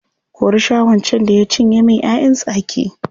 Kuri Shaho can da ya cinye min ‘ya’yan tsaki.